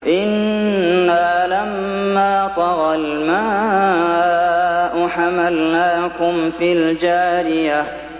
إِنَّا لَمَّا طَغَى الْمَاءُ حَمَلْنَاكُمْ فِي الْجَارِيَةِ